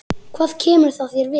Hvað kemur það þér við?